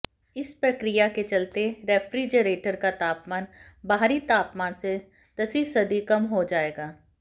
इस प्रक्रिया के चलते रेफ्रिजरेटर का तापमान बाहरी तापमान से दसीसदी कम हो जाएगा